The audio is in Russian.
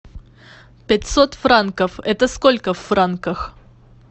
пятьсот франков это сколько в франках